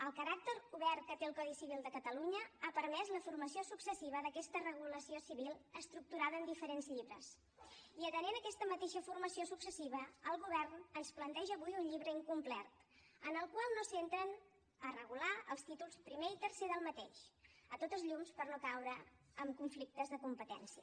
el caràcter obert que té el codi civil de catalunya ha permès la formació successiva d’aquesta regulació civil estructurada en diferents llibres i atenent a aquesta mateixa formació successiva el govern ens planteja avui un llibre incomplet en el qual no s’entren a regular els títols primer i tercer d’aquest sens dubte per no caure en conflictes de competència